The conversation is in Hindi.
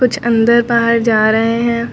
कुछ अंदर बाहर जा रहे हैं।